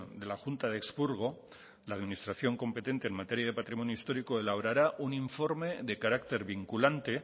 de la junta de expurgo la administración competente en materia de patrimonio histórico elaborará un informe de carácter vinculante